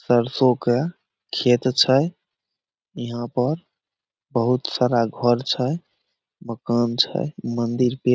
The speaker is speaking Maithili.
सरसों के खेत छै यहां पर बहुत सारा घर छै मकान छै मंदिर पे --